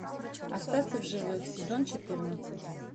остаться в живых сезон четырнадцать